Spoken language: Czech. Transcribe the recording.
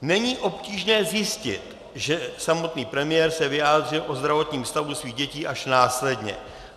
Není obtížné zjistit, že samotný premiér se vyjádřil o zdravotním stavu svých dětí až následně.